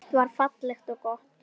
Allt var fallegt og gott.